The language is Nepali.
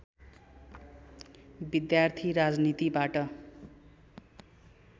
विद्यार्थी राजनीतिबाट